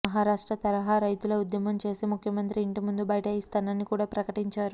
మహారాష్ట్ర తరహా రైతుల ఉద్యమం చేసి ముఖ్యమంత్రి ఇంటిముందు బైఠాయిస్తానని కూడా ప్రకటించారు